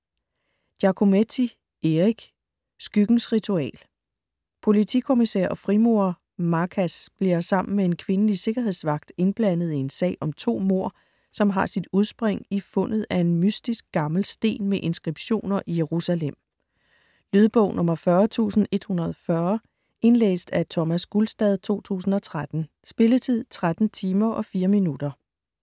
Giacometti, Eric: Skyggens ritual Politikommisær og frimurer Marcas bliver sammen med en kvindelig sikkerhedsvagt indblandet i en sag om to mord, som har sit udspring i fundet af en mystisk gammel sten med inskriptioner i Jerusalem. Lydbog 40140 Indlæst af Thomas Gulstad, 2013. Spilletid: 13 timer, 4 minutter.